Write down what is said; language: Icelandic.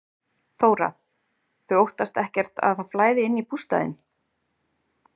Þóra: Þau óttast ekkert að það flæði inn í bústaðinn?